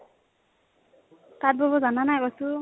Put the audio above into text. তাতঁ বব জানানা ? কৈছো